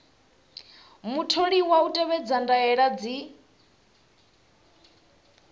mutholiwa u tevhedza ndaela dzi